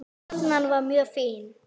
Loðnan var mjög fín.